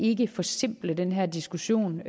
ikke forsimple den her diskussion